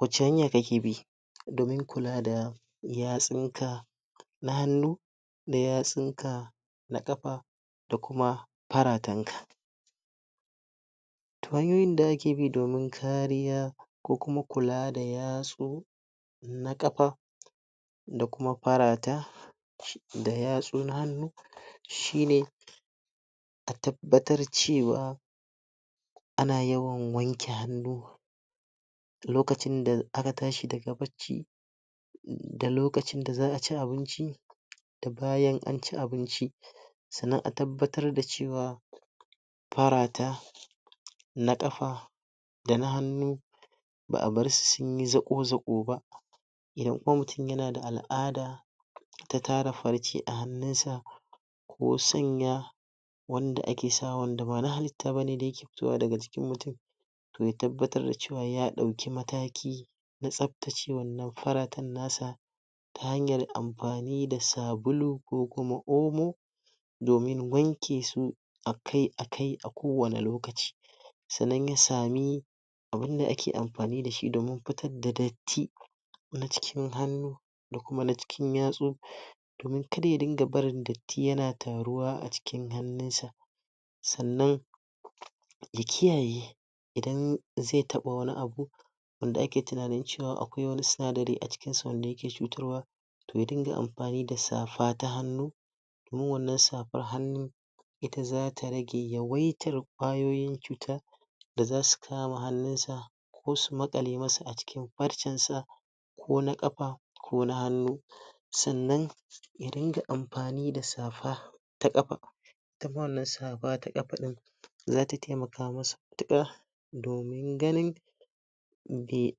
Wace hanya kake bi domin kula da yastun ka na hanu da yatsun ka na kafa da kuma paraten ka. To hanyoyin da ake bi domin kariya ko kuma kula da yaso na kafa da kuma farata da yatsu na hanu shi ne a tabbatar cewa ana yawan wanke hannu lokacin da aka tashi daga bacci da lokacin da za a ci abinci da bayan an ci abinci sannan a tabbatar da cewa parata na kafa da na hannu ba'a bar su sunyi zako zako ba idan kuma mutum yana da al'ada ta tara farce a hannun sa ko sanya wanda ake sawa da bana halita ba da yake fitowa daga jikin mutum toh ya tabbatar da cewa ya dauki mataki na tsabtacewa wannan faratan nasa ta hanyar amfani da sabulu ko kuma omo domin wanke su akai akai a kowane lokaci. sannan ya sa me abin da ake amfani da shi domin fitar da datti na cikin hannu da kuma na cikin yatsu domin kar ya dinga barin datti yana taruwa a cikin hannun sa. sannan ya kiyaye idan ze taba wani abu, wanda ake tuna cewa akwai wani sunadarai a cikin su wanda yake cutarwa toh ya dinga amfani da safa ta hannu domin wannan safan hanun ita zata rage yawaitar kwayoyin cuta da za su kama hannun sa ko su makale masa a cikin parcen sa ko na kafa ko na hanu sannan ya dinga amfani da safa ta kafa tafi wannan safa ta kafa din zata taimaka masa matuka domin ganin be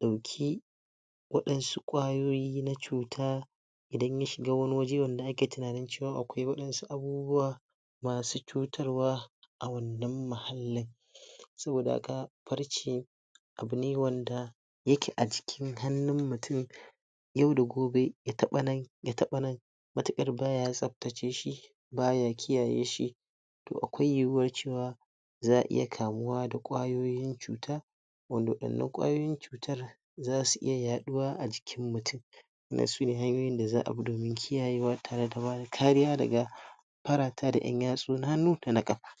dauke wadansu kwayoyi na cuta idan ya shiga wani waje wanda tunanin cewa akwai wadansu abubuwa masu cutarwa a wannan mahallin. saboda haka, parce abu ne wanda yake a jikin hannun mutum yau da gobe, ya taba nan, ya taba nan watakila baya tsabtace shi baya kiyaye shi toh akai yuyuwar cewa za iya kamuwa da kwayoyin cuta wanda wadannan kwayoyin cutar zasu iya yaduwa a jikin mutum. Wannan sune hanyoyin da za a bi domin kiyayewa tare da bada kariya daga parata na yan yastu na hannu dana kapa.